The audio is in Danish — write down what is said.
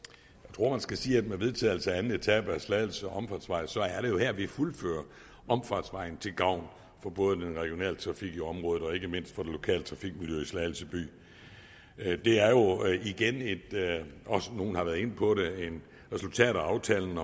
tror man skal sige at med vedtagelsen af anden etape af slagelse omfartsvej er det jo her vi fuldfører omfartsvejen til gavn for både den regionale trafik i området og ikke mindst det lokale trafikmiljø i slagelse by det er jo igen og nogle har været inde på det et resultat af aftalen